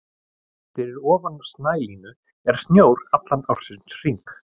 Fyrir ofan snælínu er snjór allan ársins hring.